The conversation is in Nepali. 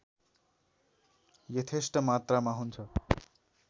यथेष्ट मात्रामा हुन्छ